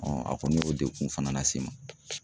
a kɔni y'o degun fana lase n ma